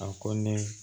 A ko ne